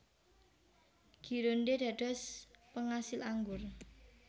Gironde dados pengasil anggur